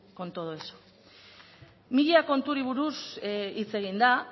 con todo eso mila konturi buruz hitz egin da